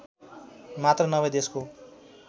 मात्र नभई देशको